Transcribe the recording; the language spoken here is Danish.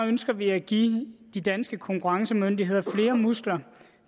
ønsker vi at give de danske konkurrencemyndigheder flere muskler